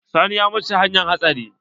Sani ya mutu ta hanyar hatsari.